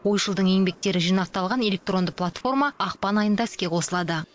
ойшылдың еңбектері жинақталған электронды платформа ақпан айында іске қосылады